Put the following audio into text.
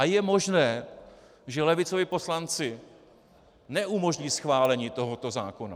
A je možné, že levicoví poslanci neumožní schválení tohoto zákona.